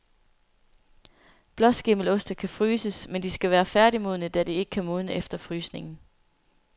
Blåskimmeloste kan fryses, men de skal være færdigmodne, da de ikke kan modne efter frysningen.